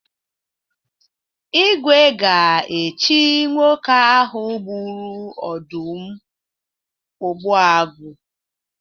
Igwe ga-echi nwoke ahụ gburu ọdụm Ogbuagu.